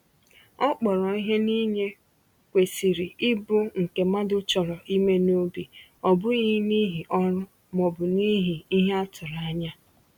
Ọ kpọrọ ihe na inye kwesịrị ịbụ nke mmadụ chọrọ ime n’obi, ọ bụghị n’ihi ọrụ ma ọ bụ n’ihi ihe a tụrụ anya.